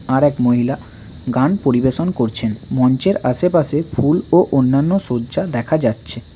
আরেক মহিলা গান পরিবেশন করছেন মঞ্চের আশপাশে ফুল ও অন্যান্য সজ্জা দেখা যাচ্ছে।